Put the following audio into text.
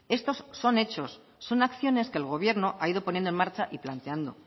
estos son hechos son acciones que el gobierno ha ido poniendo en marcha y planteando